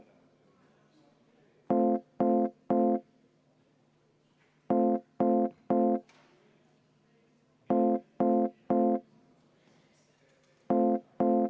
V a h e a e g